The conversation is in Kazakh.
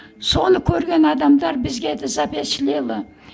соны көрген адамдар бізге де